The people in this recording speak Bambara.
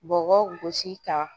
Bɔbɔ gosi ka